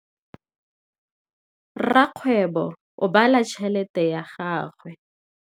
Rakgwêbô o bala tšheletê ya gagwe.